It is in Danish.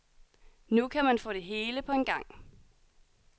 Nu kan man få det hele på en gang.